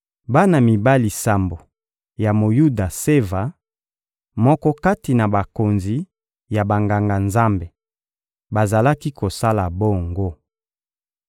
Bana mibali sambo ya Moyuda Seva, moko kati na bakonzi ya Banganga-Nzambe, bazalaki kosala bongo.